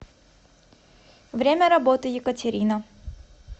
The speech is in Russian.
время работы екатерина